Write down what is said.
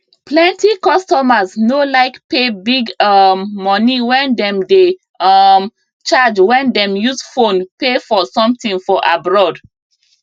plenty customers no like pay big um money wey dem dey um charge when dem use phone pay for something for abroad